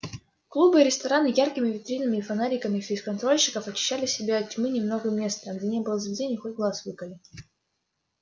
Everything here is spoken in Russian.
клубы и рестораны яркими витринами и фонариками фейсконтрольщиков очищали себе от тьмы немного места а где не было заведений хоть глаз выколи